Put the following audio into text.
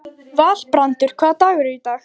Valbrandur, hvaða dagur er í dag?